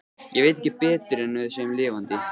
Ég veit ekki betur en við séum lifandi.